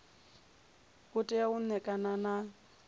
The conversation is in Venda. u tea u ṋekana nga